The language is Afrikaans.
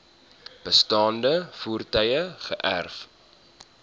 bestaande voertuie geërf